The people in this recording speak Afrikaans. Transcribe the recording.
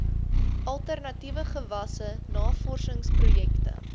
alternatiewe gewasse navorsingsprojekte